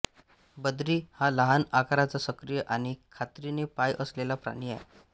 बद्री हा लहान आकाराचा सक्रिय आणि खात्रीने पाय असलेला प्राणी आहे